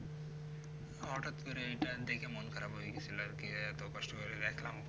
হটাৎ করে এই time থেকে মন খারাপ হয় গেছিলো আর কি যে এত কষ্ট করে দেখলাম